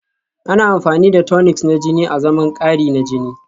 Ana amfani da tonics na jini azaman kari na jini